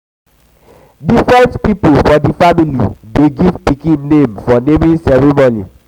different pipo for di family dey give pikin name for naming ceremony.